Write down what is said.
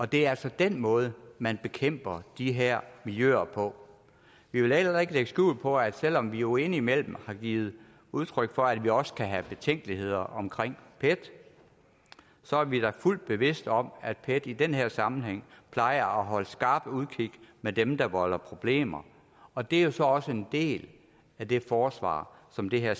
det er altså den måde man bekæmper de her miljøer på vi vil heller ikke lægge skjul på at selv om vi jo indimellem har givet udtryk for at vi også kan have betænkeligheder omkring pet så er vi da fuldt bevidst om at pet i den her sammenhæng plejer at holde skarpt udkig med dem der volder problemer og det er så også en del af det forsvar som det her